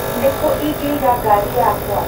Nĩku ingeiga ngari yakwa?